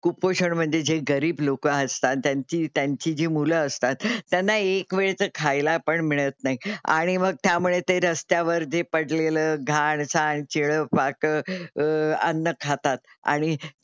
कुपोषण म्हणजे जे गरीब लोकं असतात, ज्यांची त्यांची जी मुलं असतात त्यांना एक वेळचं खायला पण मिळत नाही आणि मग त्यामुळे ते रस्त्यावर जे पडलेलं घाण साण शिळंपाकं अह अन्न खातात आणि,